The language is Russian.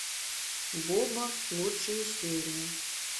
боба лучшие серии